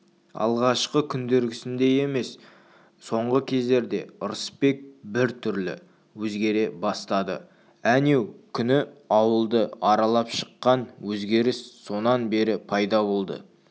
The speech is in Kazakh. алғашқы күндердегісіндей емес соңғы кездерде ырысбек бір түрлі өзгере бастады әнеу күні ауылды аралап шыққан өзгеріс сонан бері пайда болды